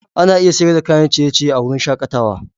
Ana iya siyar da kayan ciye-ciye a wurin shakatawa.